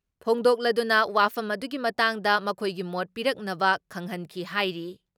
ꯐꯣꯡꯗꯣꯛꯂꯗꯨꯅ ꯋꯥꯐꯝ ꯑꯗꯨꯒꯤ ꯃꯇꯥꯡꯗ ꯃꯈꯣꯏꯒꯤ ꯃꯣꯠ ꯄꯤꯔꯛꯅꯕ ꯈꯪꯍꯟꯈꯤ ꯍꯥꯏꯔꯤ ꯫